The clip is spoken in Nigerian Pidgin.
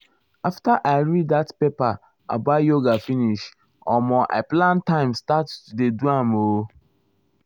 after i read that paper about yoga finish omo i plan my time start to dey do am o.